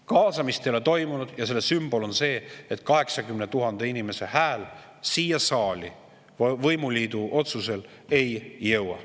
Kaasamist ei ole toimunud ja selle sümbol on see, et 80 000 inimese hääl siia saali võimuliidu otsusel ei jõua.